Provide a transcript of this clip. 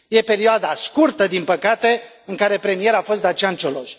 E perioada scurtă, din păcate, în care premier a fost Dacian Cioloș.